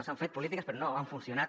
s’han fet polítiques però no han funcionat